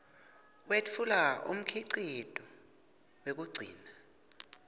wetfula umkhicito wekugcina